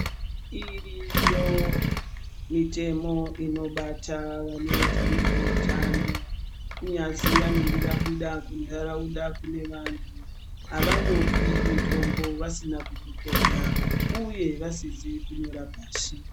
Iriyo mitemo inobata vanoita nezveutano kunyazi vanenge vabuda kuntaraunda kune vantu. Havangopi mitombo vasina kukuhloya, uye vasizi kunyora pashi.